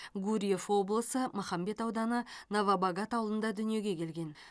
гурьев облысы махамбет ауданы новобогат ауылында дүниеге келген